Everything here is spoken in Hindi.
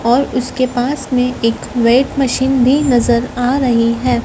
और उसके पास में एक वेट मशीन भी नजर आ रही है।